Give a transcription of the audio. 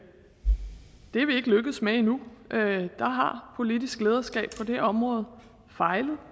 er vi ikke lykkedes med endnu der har politisk lederskab på det område fejlet